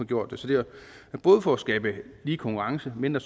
gjort det så det er både for at skabe lige konkurrence mindre